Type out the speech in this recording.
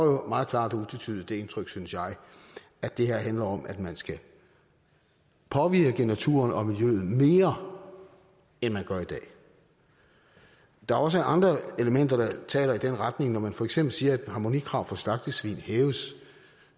jo meget klart og utvetydigt det indtryk synes jeg at det her handler om at man skal påvirke naturen og miljøet mere end man gør i dag der er også andre elementer der taler i den retning når man for eksempel siger at harmonikrav for slagtesvin hæves